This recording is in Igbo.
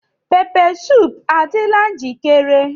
Pepeesoop adịla njikere?